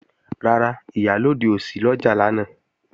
Rárá, Ìyálóde ò sí lọ́jà lánàá